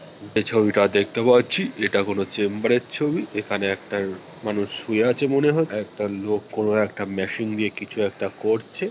এই ছবিটা দেখতে পাচ্ছি এটা কোনো চেম্বারের ছবি। এখানে একটা মানুষ শুয়ে আছে মনে একটা লোক কোনো একটা মেশিন দিয়ে কিছু একটা করছে।